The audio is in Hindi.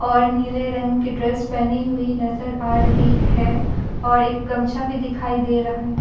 और नीले रंग के ड्रेस पहनी हुई नजर आ रही है और एक गमछा भी दिखाई दे रहा है।